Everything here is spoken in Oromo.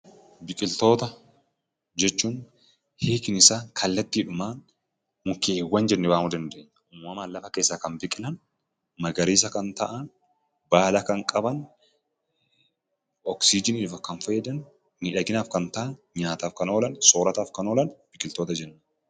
Biqiltoota jechuun hiiknisaa kallattiidhumaan mukkeewwan jennee waamuu dandeenya. Uumamaan lafa keessaa kan biqilan, magariisa kan ta'an, baala kan qaban, oksijiniif kan fayyadan, miidhaginaaf kan ta'an, nyaataaf kan oolan, soorataaf kan oolan biqiltoota jenna.